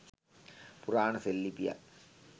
පුරාණ සෙල් ලිපියක්